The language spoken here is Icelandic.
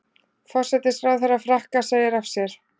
Forsætisráðherra Frakka segir af sér